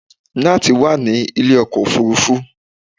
Nátànì wà ní ilé ọkọ̀ òfurufú